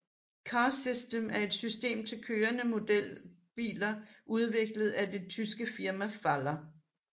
Car System er et system til kørende modelbiler udviklet af det tyske firma Faller